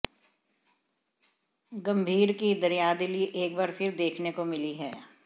गंभीर की दरियादिली एक बार फिर देखने को मिली है